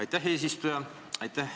Aitäh, eesistuja!